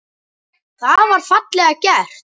Það var fallega gert.